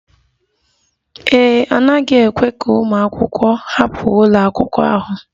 Ee e, a naghị ekwe ka ụmụ akwụkwọ hapụ ụlọ akwụkwọ ahụ